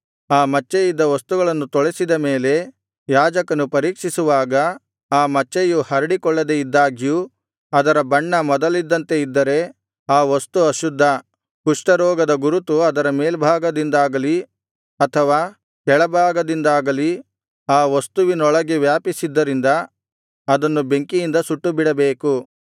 ಆ ಮಚ್ಚೆ ಇದ್ದ ವಸ್ತುಗಳನ್ನು ತೊಳೆಸಿದ ಮೇಲೆ ಯಾಜಕನು ಪರೀಕ್ಷಿಸುವಾಗ ಆ ಮಚ್ಚೆಯು ಹರಡಿಕೊಳ್ಳದೆ ಇದ್ದಾಗ್ಯೂ ಅದರ ಬಣ್ಣ ಮೊದಲಿದ್ದಂತೆಯೇ ಇದ್ದರೆ ಆ ವಸ್ತು ಅಶುದ್ಧ ಕುಷ್ಠರೋಗದ ಗುರುತು ಅದರ ಮೇಲ್ಭಾಗದಿಂದಾಗಲಿ ಅಥವಾ ಕೆಳಭಾಗದಿಂದಾಗಲಿ ಆ ವಸ್ತುವಿನೊಳಗೆ ವ್ಯಾಪಿಸಿದ್ದರಿಂದ ಅದನ್ನು ಬೆಂಕಿಯಿಂದ ಸುಟ್ಟುಬಿಡಬೇಕು